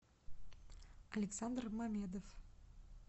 александр мамедов